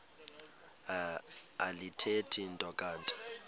alithethi nto kanti